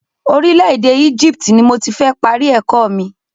Orílẹ̀ èdè Egypt ni mo ti fẹ́ parí ẹ̀kọ́ mi.